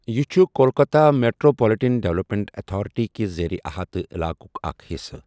یہِ چھُ Kolkata metropolitan development authority کِس زیر احاطہٕ علاقُک اکھ حصہٕ۔